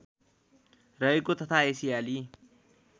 रहेको तथा एसियाली